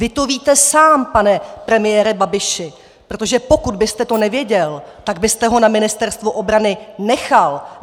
Vy to víte sám, pane premiére Babiši, protože pokud byste to nevěděl, tak byste ho na Ministerstvu obranu nechal.